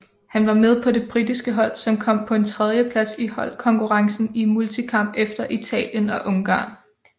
Han var med på det britiske hold som kom på en tredjeplads i holdkonkurrencen i multikamp efter Italien og Ungarn